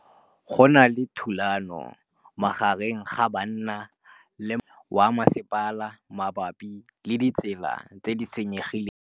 Go na le thulanô magareng ga banna le molaodi wa masepala mabapi le ditsela tse di senyegileng.